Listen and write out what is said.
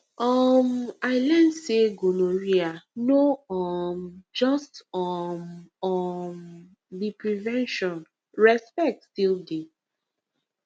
um i learn say gonorrhea no um just um um be prevention respect still dey